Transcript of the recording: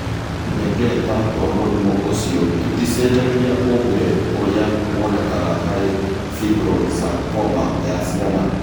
Tũhengereta twa mũrimũ ũcio tũticenjagia ũmbĩre ũrĩa wonekaga harĩ fibrosarcoma ya ciana.